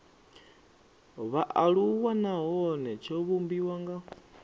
vhaaluwa nahone tsho vhumbiwa nga